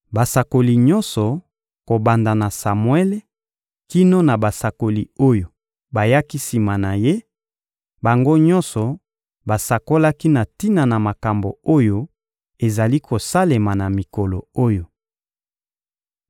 Basakoli nyonso, kobanda na Samuele kino na basakoli oyo bayaki sima na ye, bango nyonso basakolaki na tina na makambo oyo ezali kosalema na mikolo oyo.